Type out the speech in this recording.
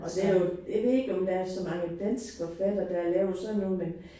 Og der jo jeg ved ikke om der er så mange danske forfattere der har lavet sådan noget men